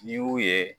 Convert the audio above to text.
N'i y'u ye